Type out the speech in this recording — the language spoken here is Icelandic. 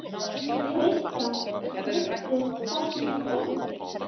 Kristján: Veistu hvernig það gerðist?